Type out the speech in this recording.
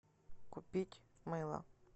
купить мыло